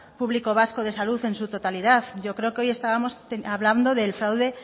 público vasco de salud en su totalidad yo creo que hoy estábamos hablando del fraude